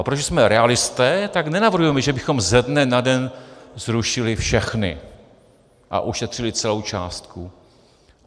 A protože jsme realisté, tak nenavrhujeme, že bychom ze dne na den zrušili všechny a ušetřili celou částku.